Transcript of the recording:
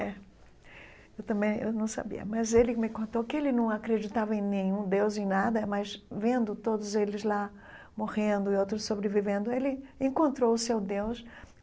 É, eu também eu não sabia, mas ele me contou que ele não acreditava em nenhum Deus, em nada, mas vendo todos eles lá morrendo e outros sobrevivendo, ele encontrou o seu Deus.